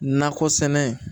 Nakɔ sɛnɛ